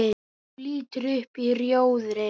Þú lítur upp í rjóðri.